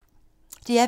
DR P2